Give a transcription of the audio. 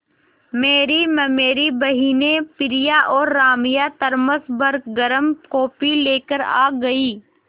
मेरी ममेरी बहिनें प्रिया और राम्या थरमस भर गर्म कॉफ़ी लेकर आ गईं